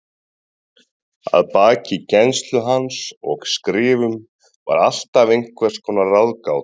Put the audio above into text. Að baki kennslu hans og skrifum var alltaf einhvers konar ráðgáta.